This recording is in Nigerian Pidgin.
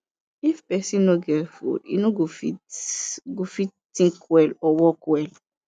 if pesin no get food e no go fit go fit think well or work well